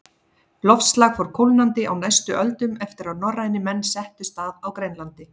Loftslag fór kólnandi á næstu öldum eftir að norrænir menn settust að á Grænlandi.